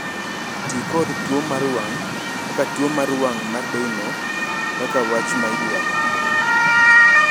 "Ti kod ""tuwo mar wang'"" kata ""tuwo mar wang' mar Doyne"" kaka wach ma idwaro."